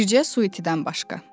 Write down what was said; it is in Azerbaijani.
Bircə Suitdən başqa.